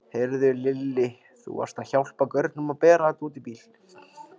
Heyrðu Lilli. þú varst að hjálpa gaurunum að bera þetta út í bílinn.